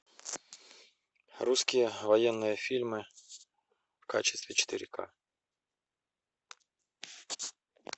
русские военные фильмы в качестве четыре ка